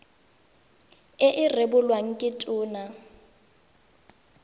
e e rebolwang ke tona